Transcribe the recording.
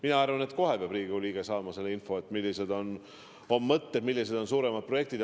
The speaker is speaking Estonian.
Mina arvan, et Riigikogu liige peab kohe saama selle info, millised on mõtted, millised on suuremad projektid.